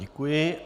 Děkuji.